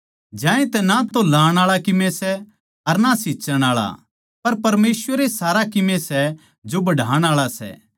ज्यांतै ना तो लाणआळा कीमे सै अर ना सींच्चण आळा पर परमेसवर ए सारा कीमे सै जो बढ़ाण आळा सै